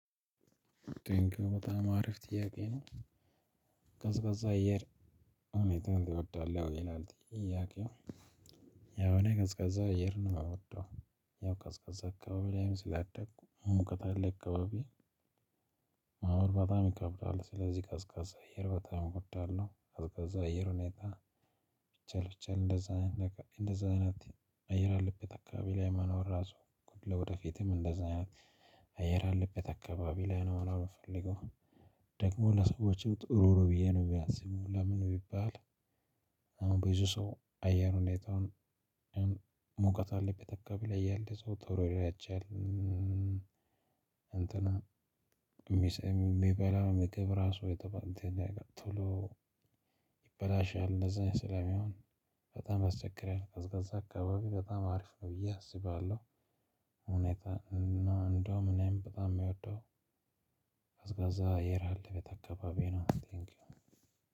ጥያቄው በጣም አሪፍ ጥያቄ ነው? ቀዝቃዛ አየር ሁኔታ ትወዳለህ ይላል ጥያቄው። ያው እኔ ቀዝቃዛ አየር አልወደውም። ያው ቀዝቃዛ አካባቢ ላይም ስላደግኩ ሙቀት ያለ አካባቢ። መሆን በጣም ይከብዳል ስለዚህ ቀዝቃዛ አየር በጣም እወዳለሁ ቀዝቃዛ አየር ሁኔታ። ቢቻል ቢቻል እንደዛ አይነት እንደዛ አይነት አየር ያለብት አካባቢ ላይ መኖር ራሱ ወደፊትም እንደዛ አይነት አየር አለበት አካባቢ ላይ ነው መኖር የምፈልገው። ደግሞ ለሰዎች ጥሩ ነው ብየ ነው ማስበው ለምን ቢባል። አሁን ብዙ ሰው አየር ሁኔታውን። ሙቀት ያለበት አካባቢ ላይ ያለ ሰው ቶሎ ያረጃልእንትን። የሚበላው ምግብ ራሱ ቶሎ ይበላሻል። እንደዛ ስለሚሆን በጣም ያስቸግራል። ቀዝቃዛ አካባቢ በጣም አሪፍ ነው ብዬ አስባለሁ። ሁኔታ ነው እንደውም እኔም በጣም የሚወደው። ቀዝቃዛአየር ያለበት አካባቢ ነው ቴንኪው።